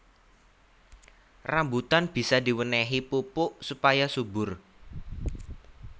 Rambutan bisa diwénéhi pupuk supaya subur